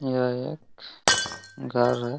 यह एक घर है ।